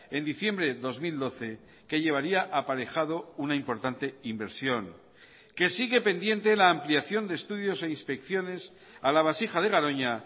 en diciembre de dos mil doce que llevaría aparejado una importante inversión que sigue pendiente la ampliación de estudios e inspecciones a la vasija de garoña